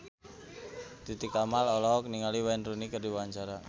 Titi Kamal olohok ningali Wayne Rooney keur diwawancara